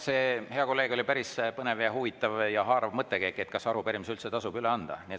See, hea kolleeg, oli päris põnev, huvitav ja haarav mõttekäik, et kas arupärimisi üldse tasub üle anda.